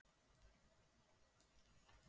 Ég sá að ég átti enga samleið með þeim.